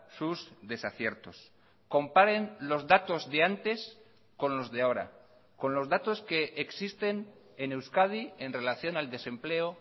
sus desaciertos comparen los datos de antes con los de ahora con los datos que existen en euskadi en relación al desempleo